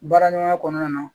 Baara ɲɔgɔnya kɔnɔna na